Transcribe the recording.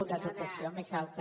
una dotació més alta